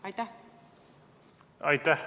Aitäh!